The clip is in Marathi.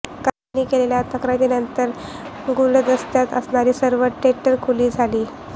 काहींनी केलेल्या तक्रारीनंतर गुलदस्त्यात असणारी सर्व टेंडर खुली झाली